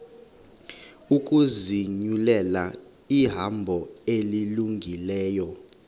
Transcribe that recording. ukuzinyulela ihambo elungileyo